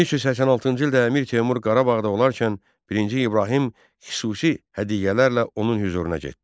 1386-cı ildə Əmir Teymur Qarabağda olarkən birinci İbrahim xüsusi hədiyyələrlə onun hüzuruna getdi.